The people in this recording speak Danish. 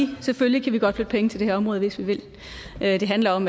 vi selvfølgelig godt kan flytte penge til det her område hvis vi vil det handler om